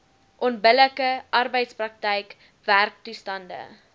onbillike arbeidsprakryk werktoestande